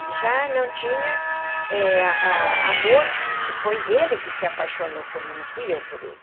Ele já não tinha eh amor, porque foi ele que se apaixonou por mim, não fui eu por ele.